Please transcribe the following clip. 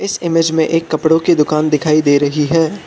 इस इमेज में एक कपड़ों की दुकान दिखाई दे रही है।